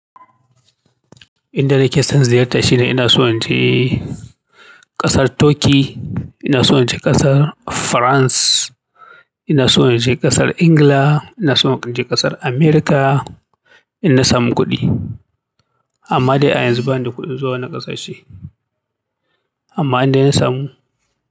Inda da nike son ziyarta shine ina so in je ƙasar Turkey, ina so in je ƙasar France, ina so in je ƙasar England, ina so in je ƙasar America in na samu kuɗi. Amma dai a yanzu bani da kuɗin zuwa wannan ƙasashe. Amma in dai ya samu.